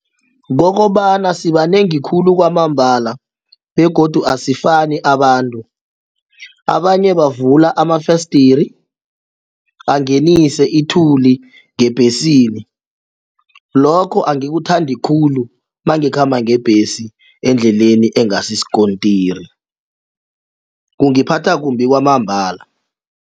Kokobana sibanengi khulu kwamambala begodu asifani abantu, abanye bavula amafesdiri angenise ithuli ngebhesini lokho angikuthandi khulu nangikhamba ngebhesi endleleni engasi sikontiri kungiphatha kumbi kwamambala.